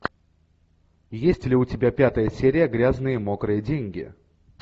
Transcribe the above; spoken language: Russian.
есть ли у тебя пятая серия грязные мокрые деньги